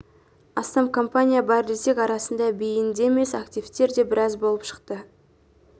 астам компания бар десек арасында бейінді емес активтер де біраз болып шықты